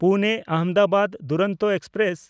ᱯᱩᱱᱮ-ᱟᱦᱚᱢᱫᱟᱵᱟᱫ Duronto express